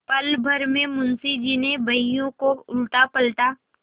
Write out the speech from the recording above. पलभर में मुंशी जी ने बहियों को उलटापलटा